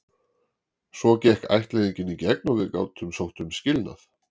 Svo gekk ættleiðingin í gegn og við gátum sótt um skilnað.